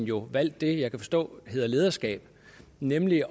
jo valgt det jeg kan forstå hedder lederskab nemlig